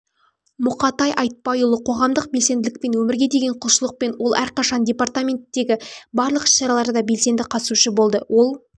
мұқатай айтбайұлы қоғамдық белсенділікпен өмірге деген құлшылықпен ол әрқашан департаментдегі барлық іс-шараларда белсенді қатысушы болды ол